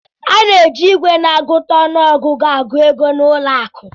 A na-eji igwe na-agụta ọnụ ọgụgụ agụ ego na ụlọ akụ